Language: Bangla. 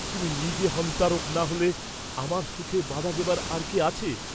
তুজি নিজে হন্তারক না হলে আমার সুখে বাধা দেবার আর কে আছে?